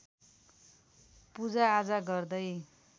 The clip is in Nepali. पूजाआजा गर्दै